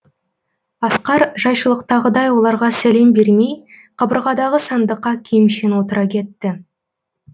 асқар жайшылықтағыдай оларға сәлем бермей қабырғадағы сандыққа киімшең отыра кетті